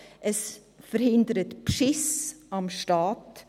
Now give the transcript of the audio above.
Es verhindert Betrug am Staat.